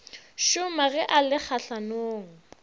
šoma ge a le kgahlanong